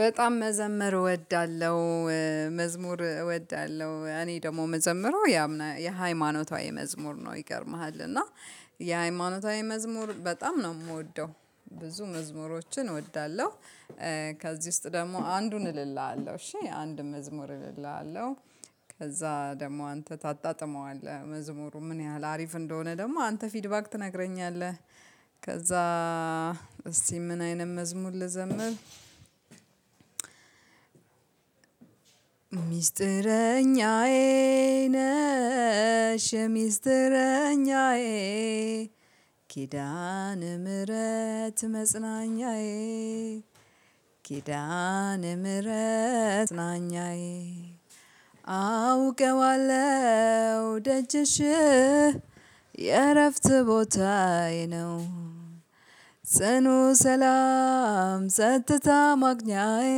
በጣም መዘመር እወዳለሁ። መዝሙር እወዳለሁ እኔ ደግሞ መዘምረው ያምና የሃይማኖታዊ መዝሙር ነው ይገርምሃል እና የሃይማኖታዊ መዝሙር በጣም ነው የምወደው። ብዙ መዝሙሮችን እወዳለሁ። ከዚህ ውስጥ ደግሞ አንዱን እልልሃለሁ እሺ አንድ መዝሙር እልልሃለሁ። ከዛ ደግሞ አንተ ታጣጥመዋለህ መዝሙሩ ምን ያህል አሪፍ እንደሆነ ደግሞ አንተ ፊድባክ ትነግረኛለህ። ከዛ እስቲ ምን አይነት መዝሙር ልዘምር? ምስጢረኛዬ ነሽ የ ሚስጥረኛዬ ኪዳን ምህረት መጽናኛዬ። ኪዳነ ምህረት መጽናኛዬ። አውቀዋለሁ ደጀሽ የእረፍት ቦታዬ ነው። ጽኑ ሰላም ጽጥታ ማግኛዬ።